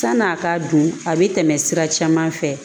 San'a ka don a bɛ tɛmɛ sira caman fɛ